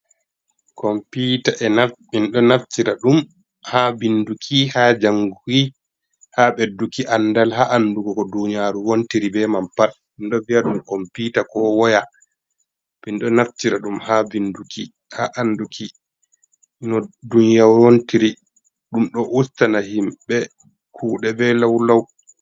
kompita enɗo naftira ɗum ha ɓinɗɗuki, ha janguki ha ɓedduki andal ha andugoko duniyaru ko wontiri be man pat ɓeɗo viya ɗum kompita ko woya, minɗo naftira ɗum ha vinduki, ha anduki ko duniyaru wontiri, ɗum ɗo ustana himɓe kuɗe be law law.